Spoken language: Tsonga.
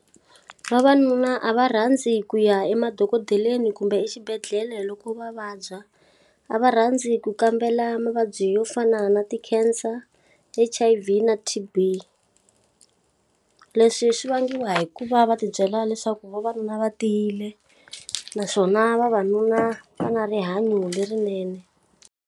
Vavanuna a va rhandzi ku ya emadokodeleni kumbe exibedhlele loko va vabya, A va rhandzi ku kambela mavabyi yo fana na ti-cancer, H_I_V na T_B. Leswi swi vangiwa hi ku va va ti byela leswaku vavanuna va tiyile naswona vavanuna va na rihanyo lerinene.